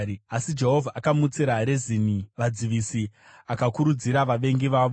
Asi Jehovha akamutsira Rezini vadzivisi akakurudzira vavengi vavo.